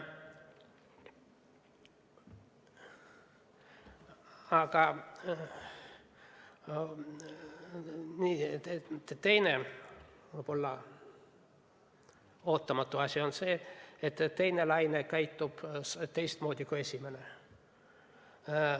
Aga teine, võib-olla ootamatu asi on see, et teine laine käitub teistmoodi kui esimene.